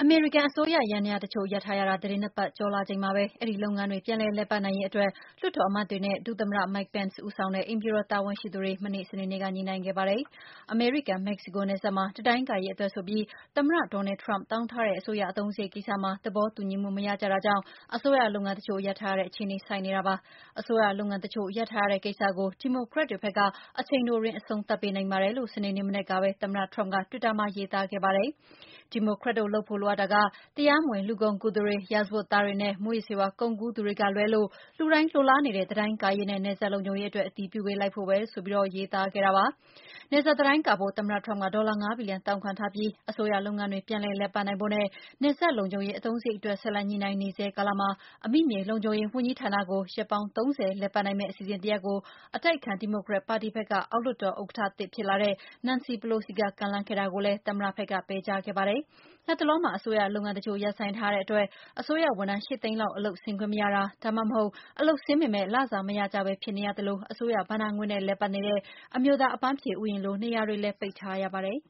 မေရိကန်အစိုးရ ယန္တရားတချို့ ရပ်ထားရတာ ၁၅ ရက်ထဲရောက်လာချိန်မှာပဲ အဲဒီလုပ်ငန်းတွေ ပြန် လည်ပတ်နိုင်ရေးအတွက် လွှတ်တော်အမတ်တွေနဲ့ ဒုသမ္မတ Mike Pence ဦးဆောင်တဲ့ အိမ်ဖြူတော် တာဝန်ရှိသူတွေ မနေ့ စနေနေ့က ညှိနှိုင်းခဲ့ကြပါတယ်။ အမေရိကန်မက္ကဆီကို နယ်စပ်မှာ တံတိုင်းကာရေးအတွက်ဆိုပြီး သမ္မတ Donald Trump တောင်းထားတဲ့ အစိုးရ အသုံးစရိတ်မှာ သဘောတူညီမှု မရကြတာကြောင့် အစိုးရလုပ်ငန်းတချို့ရပ်ထားရတဲ့ အခြေဆိုက်နေတာပါ။ အစိုးရလုပ်ငန်းတချို့ရပ်ထားရတဲ့ကိစ္စကို ဒီမိုကရက်တွေဘက်က အချိန်တိုအတွင်း အဆုံးသတ် ပေးနိုင်ပါတယ် လို့ စနေနေ့မနက်ကပဲ သမ္မတ Trump က တွစ်တာမှာ ရေးသားခဲ့ပါတယ်။ ဒီမိုကရက်တို့လုပ်ဖို့လိုအပ်တာက တရားမဝင်လူကုန်ကူးသူတွေ၊ ရာဇဝတ်သားတွေနဲ့ မူးယစ်ဆေးဝါးကုန်ကူးသူတွေကလွဲလို့ လူတိုင်းလိုလား နေတဲ့ တံတိုင်းကာရေးနဲ့ နယ်စပ်လုံခြုံရေးအတွက် အတည်ပြုပေးလိုက်ဖို့ပဲလို တယ်ဆိုပြီးရေးသားခဲ့တာပါ။ နယ်စပ်တံတိုင်းကာဖို့ သမ္မတ Trump ဒေါ်လာ ၅ ဘီလီယံ တောင်းခံထားပြီး အစိုးရလုပ်ငန်းတွေ ပြန်ပြီး လည် ပတ်နိုင်ဖို့နဲ့ နယ်စပ်လုံခြုံရေး အသုံးစရိတ်အတွက် ဆက်လက် ညှိနှိုင်းနေဆဲ ကာလမှာ အမိမြေလုံခြုံရေး ဝန်ကြီးဌာနကိုရက်ပေါင်း ၃၀ လည်ပတ်နိုင်မယ့် အစီအစဉ်တရပ်ကို အတိုက်အခံ ဒီမိုကရက်ပါတီက အောက် လွှတ်တော် ဥက္ကဋ္ဌသစ် ဖြစ်လာတဲ့ Nancy Pelosi က ကမ်းလှမ်းခဲ့တာကိုလည်း သမ္မတဘက်က ပယ်ချခဲ့ပါ တယ်။ လတ်တလောမှာ အစိုးရလုပ်ငန်းတချို့ ရပ်ဆိုင်းထားရတဲ့အတွက် အစိုးရဝန်ထမ်း ၈ သိန်းလောက် အလုပ်ဆင်းခွင့်မရတာ၊ ဒါမှမဟုတ် အလုပ်ဆင်းပေမဲ့ လစာမရကြပဲ ဖြစ်နေရသလို၊ အစိုးရဘဏ္ဍာငွေနဲ့ လည်ပတ်နေတဲ့ အမျိုးသား အပမ်းဖြေဥယျာဉ်လို နေရာတွေလည်း ပိတ်ထားရပါတယ်